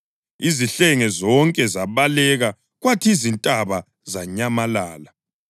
Izihlenge zonke zabaleka kwathi izintaba zanyamalala.